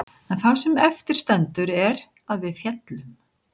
En það sem eftir stendur er að við féllum.